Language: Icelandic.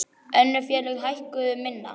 Önnur félög hækkuðu minna.